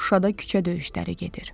Şuşada küçə döyüşləri gedir.